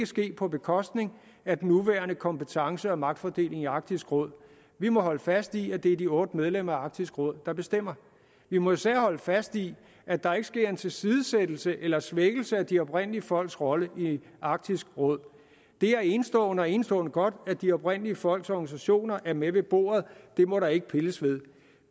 ske på bekostning af den nuværende kompetence og magtfordeling i arktisk råd vi må holde fast i at det er de otte medlemmer af arktisk råd der bestemmer vi må især holde fast i at der ikke sker en tilsidesættelse eller svækkelse af de oprindelige folks rolle i arktisk råd det er enestående og enestående godt at de oprindelige folks organisationer er med ved bordet det må der ikke pilles ved